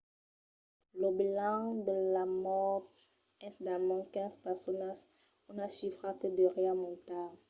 lo bilanç de las mòrts es d'almens 15 personas una chifra que deuriá montar